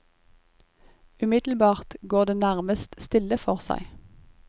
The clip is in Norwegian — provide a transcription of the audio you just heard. Umiddelbart går det nærmest stille for seg.